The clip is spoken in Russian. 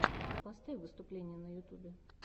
поставь выступления на ютюбе